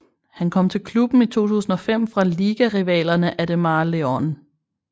Han kom til klubben i 2005 fra ligarivalerne Ademar León